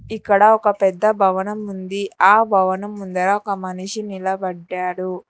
ఇక్కడ ఒక పెద్ద భవనం ఉంది ఆ భవనం ముందర ఒక మనిషి నిలబడ్డాడు.